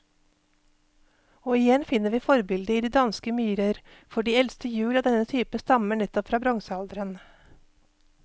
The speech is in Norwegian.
Og igjen finner vi forbildet i de danske myrer, for de eldste hjul av denne type stammer nettopp fra bronsealderen.